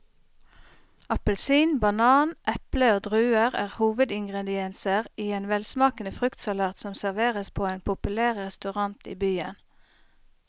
Appelsin, banan, eple og druer er hovedingredienser i en velsmakende fruktsalat som serveres på en populær restaurant i byen.